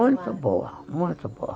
Muito boa, muito boa.